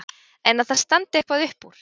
En að það standi eitthvað upp úr?